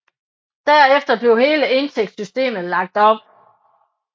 Derefter blev hele indtægtssystemet lagt om